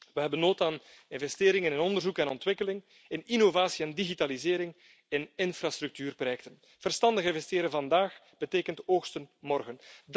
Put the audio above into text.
We hebben behoefte aan investeringen in onderzoek en ontwikkeling, in innovatie en digitalisering, in infrastructuurprojecten. Verstandig investeren vandaag betekent oogsten morgen.